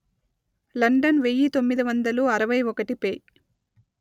London వెయ్యి తొమ్మిది వందలు అరవై ఒకటి పే